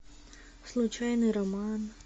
случайный роман